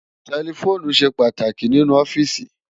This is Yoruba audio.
Tẹlifoonu ṣé pàtáki ninú òfìsí